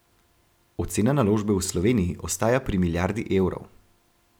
Ocena naložbe v Sloveniji ostaja pri milijardi evrov.